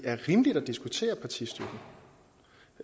parti